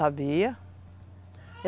Sabia.